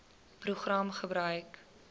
program gebruik